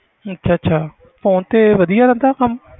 ਅੱਛਾ ਅੱਛਾ phone ਤੇ ਵਧੀਆ ਰਹਿੰਦਾ ਕੰਮ?